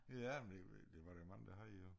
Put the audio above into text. Ja men det ved ikke det var der jo mange der havde jo